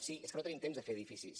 sí és que no tenim temps de fer edificis